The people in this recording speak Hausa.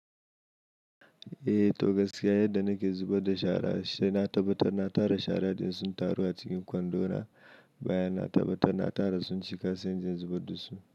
Eh, to gaskiya yadda nake zubar da shara sai na tabbatar na tara shara ɗin sun taru a cikin kwando na, bayan na tabbatar na tara sun cika sai in je in zubar da su.